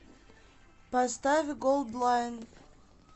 поставь голдлайн